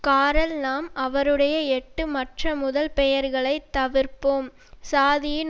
காரல் நாம் அவருடைய எட்டு மற்ற முதல் பெயர்களைத் தவிர்ப்போம் சாதியின்